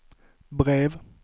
brev